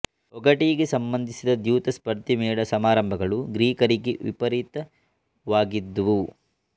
ಒಗಟಿಗೆ ಸಂಬಂಧಿಸಿದ ದ್ಯೂತ ಸ್ಪರ್ಧೆ ಮೇಳ ಸಮಾರಂಭಗಳು ಗ್ರೀಕರಲ್ಲಿ ವಿಪರೀತವಾಗಿದ್ದುವು